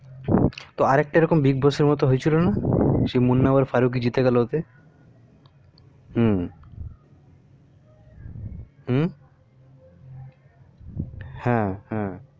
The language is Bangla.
তো আরেকটা এরকম bigboss এর মতো হয়েছিল না মুন্না আর ফারুকী জিতে গেলো ওতে মু মু হ্যা হ্যা